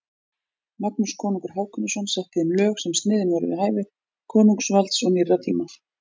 Magnús konungur Hákonarson setti þeim lög sem sniðin voru við hæfi konungsvalds og nýrra tíma.